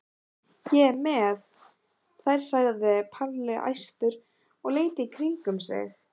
Ég er með þær sagði Palli æstur og leit í kringum sig.